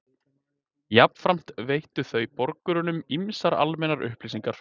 Jafnframt veittu þau borgurunum ýmsar almennar upplýsingar.